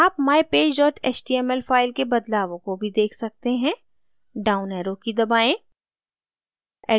आप mypage html file के बदलावों को भी देख सकते हैं down arrow की दबाएँ